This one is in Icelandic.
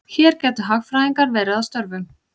Hér gætu hagfræðingar verið að störfum.